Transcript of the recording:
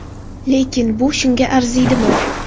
Lekin bu shunga arziydimi?